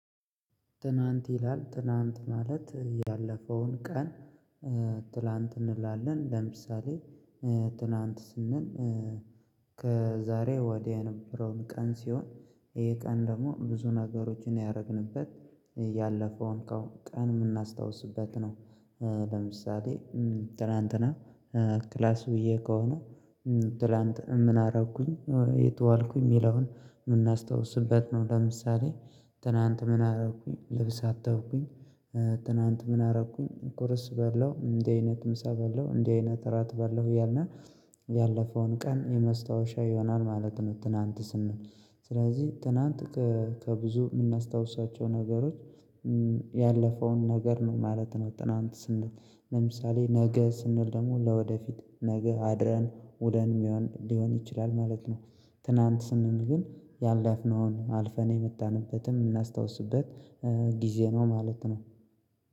ትናንት ይላል ትናንት ማለት ያለፈውን ቀን። ትላንት እንላለን ለምሳሌ ትናንት ስንል ከዛሬ ወዲያ የነበረውን ቀን ሲሆን። ይሄ ቀን ደግሞ ብዙ ነገሮችን ያረግንበት ያለፈውን ቀን ምናስታውስበት ነው። በምሳሌ ትላንትና ክላስ ውዬ ከሆነ ትላንት ምን አረኩኝ የት ዋልኩኝ የሚለውን የምናስታውስበት ነው። ለምሳሌ ትናንት ምን አረኩኝ ልብስ አጠብቁኝ። ትናንት ምን አረኩኝ ቁርስ በላሁ እንዲህ አይነት ምሳ በላው እንዲህ አይነት እራት በላው እያልን ያለፈውን ቀን የመስታወሻ ይሆናል ማለት ነው። ትናንት ስንል ስለዚህ ትናንት ከብዙ የምናስታውሷቸው ነገሮች ያለፈውን ነገር ነው ማለት ነው። ትናንት ስንል ለምሳሌ ነገ ስንል ደግሞ ለወደፊት ነገ አድረን ውለን ሊሆን ሊሆን ይችላል ማለት ነው። ትናንት ስንል ግን ያለፍነውን አልፈን የመጣንበትን የምናስታውስበት ጊዜ ነው ማለት ነው